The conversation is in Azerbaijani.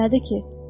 Nədir ki?